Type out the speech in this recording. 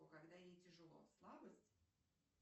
когда ей тяжело слабость